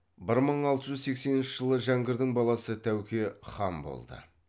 бір мың алты жүз сексенінші жылы жәңгірдің баласы тәуке хан болды